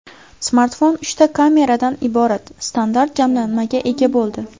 Smartfon uchta kameradan iborat standart jamlanmaga ega bo‘ldi.